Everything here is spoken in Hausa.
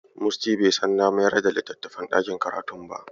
Musty bai san na mayar da littafin ɗakin karatun ba.